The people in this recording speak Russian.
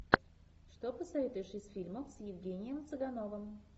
что посоветуешь из фильмов с евгением цыгановым